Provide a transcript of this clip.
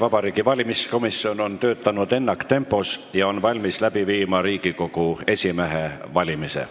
Vabariigi Valimiskomisjon on töötanud ennaktempos ja valmis läbi viima Riigikogu esimehe valimise.